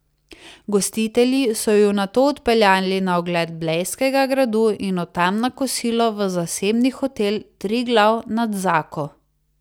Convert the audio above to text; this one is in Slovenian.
Gostitelji so ju nato odpeljali na ogled blejskega gradu in od tam na kosilo v zasebni hotel Triglav nad Zako.